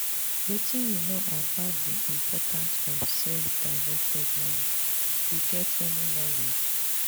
wetin you know about di importance of self-directed learning you get any knowledge?